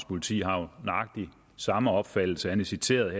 politi har jo nøjagtig samme opfattelse han er citeret